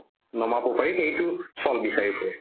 নমাব পাৰি সেইটো চল বিচাৰি ফুৰে